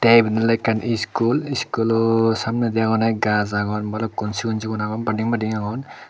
te ebet ole ekkan iskul iskulo samnedi anone gaj agon balukkun sigon sigon agon badim madim agon.